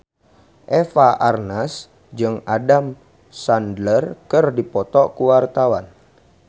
Eva Arnaz jeung Adam Sandler keur dipoto ku wartawan